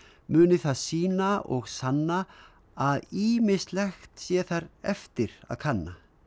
muni það sýna og sanna að ýmislegt sé þar eftir að kanna